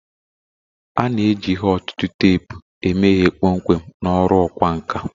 A na-eji ihe ọ̀tụ̀tụ̀ teepu eme ihe kpọmkwem na ọrụ ọkwá nkà